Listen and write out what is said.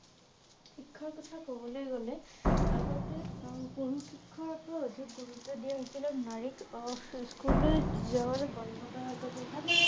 শিক্ষাৰ কথা কবলৈ গলে আগতে পৰা অধিক গুৰুত্ব দিয়া হৈছিল আৰু নাৰীক আহ স্কুললৈ যাবলৈ বন্ধ কৰা